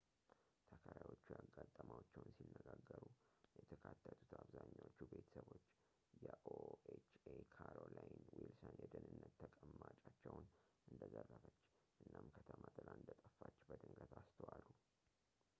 ተከራዮቹ ያጋጠማቸውን ሲነጋገሩ የተካተቱት አብዛኛዎቹ ቤተሰቦች የኦኤችኤ ካሮሊይን ዊልሰን የደህንነት ተቀማጫቸውን እንደዘረፈች እናም ከተማ ጥላ እንደጠፋች በድንገት አስተዋሉ